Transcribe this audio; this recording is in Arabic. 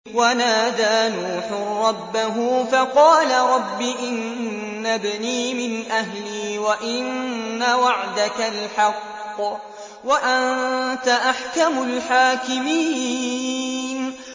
وَنَادَىٰ نُوحٌ رَّبَّهُ فَقَالَ رَبِّ إِنَّ ابْنِي مِنْ أَهْلِي وَإِنَّ وَعْدَكَ الْحَقُّ وَأَنتَ أَحْكَمُ الْحَاكِمِينَ